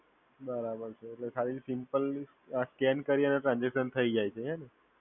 બરાબર છે, એટલે ખાલી સિમ્પલી આ સ્કેન કરીયે છે ને ટ્રાન્સઝેકશન થઇ જાય છે હે ને?